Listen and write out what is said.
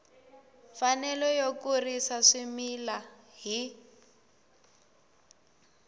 mfanelo yo kurisa swimila hi